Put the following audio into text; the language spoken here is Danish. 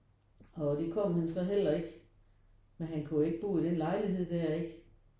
Og det kom han så heller ikke men han kunne jo ikke bo i den lejlighed der ikke